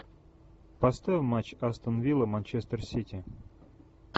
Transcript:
поставь матч астон вилла манчестер сити